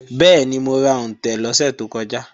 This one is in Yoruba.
Bẹ́ẹ̀ni, mo ra òǹtẹ̀ lọ́sẹ̀ tó kọjá